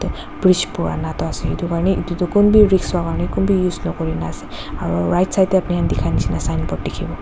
bridge purana toh ase edu karne edu tu kunbi risk hokarni kunbi use nakurina ase aro right side tae apni khan dikha nishi na signboard dikhibo--